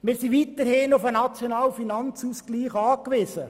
Wir sind weiterhin auf den nationalen Finanzausgleich angewiesen.